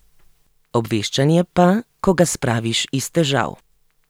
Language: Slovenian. Obveščanje pa, ko ga spraviš iz težav.